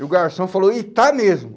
E o garçom falou, e está mesmo.